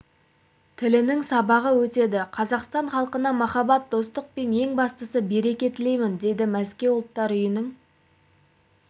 тілінің сабағы өтеді қазақстан халқына махаббат достық ең бастысы береке тілеймін дейді мәскеу ұлттар үйінің